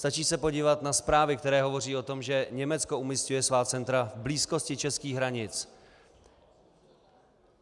Stačí se podívat na zprávy, které hovoří o tom, že Německo umísťuje svá centra v blízkosti českých hranic.